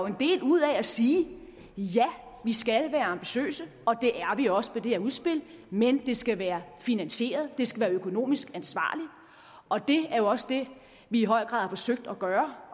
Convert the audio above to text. en del ud af at sige ja vi skal være ambitiøse og det er vi også med det her udspil men det skal være finansieret det skal være økonomisk ansvarligt og det er også det vi i høj grad har forsøgt at gøre